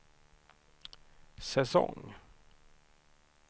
säsong